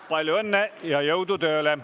Palju õnne ja jõudu tööle!